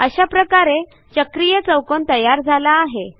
अशा प्रकारे चक्रीय चौकोन तयार झाला आहे